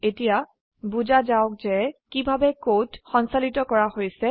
এতিয়া বোজা যাওক যে কিভাবে কোড সঞ্চালিত কৰা হৈছে